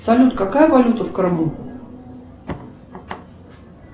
салют какая валюта в крыму